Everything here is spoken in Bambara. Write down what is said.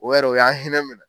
O yɛrɛ o y'an hinɛ minɛ.